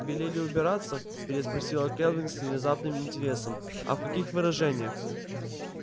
велели убираться переспросила кэлвин с внезапным интересом а в каких выражениях